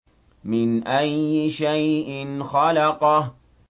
مِنْ أَيِّ شَيْءٍ خَلَقَهُ